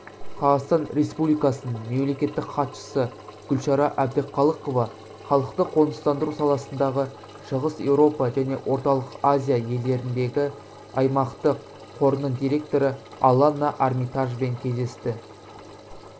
қазақстан республикасының мемлекеттік хатшысы гүлшара әбдіқалықова халықты қоныстандыру саласындағы шығыс еуропа және орталық азия елдеріндегі аймақтық қорының директоры аланна армитажбен кездесті